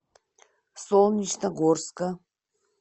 солнечногорска